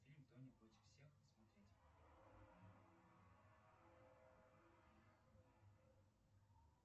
фильм тони против всех смотреть